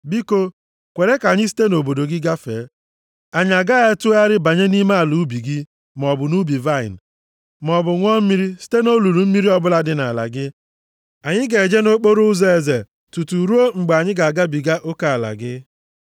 “Biko, kwere ka anyị site nʼobodo gị gafee. Anyị agaghị atụgharị banye nʼime ala ubi gị maọbụ nʼubi vaịnị, maọbụ ṅụọ mmiri site nʼolulu mmiri ọbụla dị nʼala gị. Anyị ga-eje nʼokporoụzọ eze tutu ruo mgbe anyị ga-agabiga oke ala gị.”